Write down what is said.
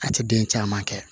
A tɛ den caman kɛ